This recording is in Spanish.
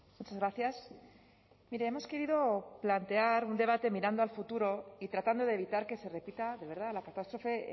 muchas gracias mire hemos querido plantear un debate mirando al futuro y tratando de evitar que se repita de verdad la catástrofe